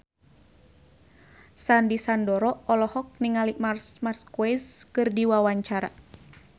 Sandy Sandoro olohok ningali Marc Marquez keur diwawancara